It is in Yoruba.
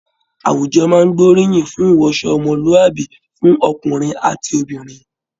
Àwùjọ máa n gboriyin fún iwọṣọ ọmọluabi fún ọkùnrin àti obìnrin.